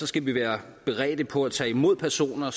skal vi være beredte på at tage imod personer